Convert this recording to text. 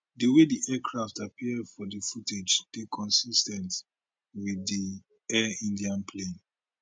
di way di aircraft appear for di footage dey consis ten t wit di air india plane